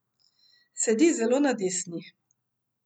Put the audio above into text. Sedi zelo na desni.